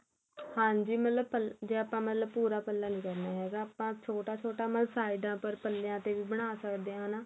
ਹਾਂਜੀ ਮਤਲਬ ਜ਼ੇ ਆਪਾ ਮਤਲਬ ਪੱਲਾ ਨਹੀ ਕਹਿੰਦੇ ਹੈਗੇ ਆਪਾ ਛੋਟਾ ਛੋਟਾ ਮਤਲਬ ਸਾਈਡਾਂ ਪਰ ਪੱਲਿਆ ਤੇ ਬਣਾ ਸਕਦੇ ਹੈਨਾ